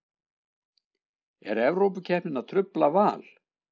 Er Evrópukeppnin að trufla Val?